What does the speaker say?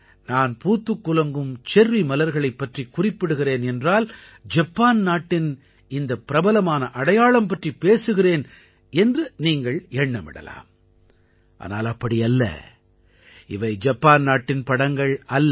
நான் பூத்துக் குலுங்கும் செர்ரி மலர்களைப் பற்றிக் குறிப்பிடுகிறேன் என்றால் ஜப்பான் நாட்டின் இந்த பிரபலமான அடையாளம் பற்றிப் பேசுகிறேன் என்று நீங்கள் எண்ணமிடலாம் ஆனால் அப்படி அல்ல இவை ஜப்பான் நாட்டின் படங்கள் அல்ல